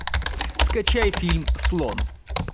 скачай фильм слон